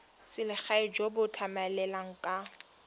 selegae jo bo tlamelang ka